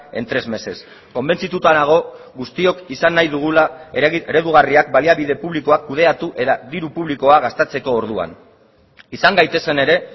en tres meses konbentzituta nago guztiok izan nahi dugula eredugarriak baliabide publikoak kudeatu eta diru publikoa gastatzeko orduan izan gaitezen ere